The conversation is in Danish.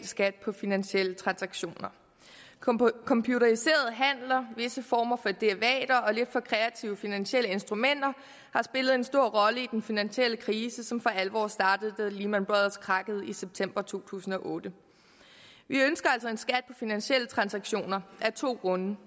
skat på finansielle transaktioner computeriserede handler visse former for derivater og lidt for kreative finansielle instrumenter har spillet en stor rolle i den finansielle krise som for alvor startede da lehman brothers krakkede i september to tusind og otte vi ønsker altså en skat finansielle transaktioner af to grunde